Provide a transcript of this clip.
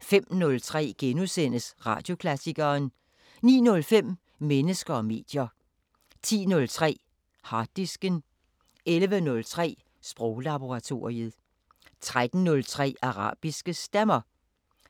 05:03: Radioklassikeren * 09:05: Mennesker og medier 10:03: Harddisken 11:03: Sproglaboratoriet 13:03: Arabiske Stemmer